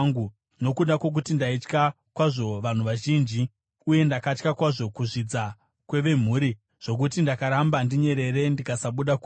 nokuda kwokuti ndaitya kwazvo vanhu vazhinji, uye ndakatya kwazvo kuzvidza kwevemhuri, zvokuti ndakaramba ndinyerere ndikasabuda kunze,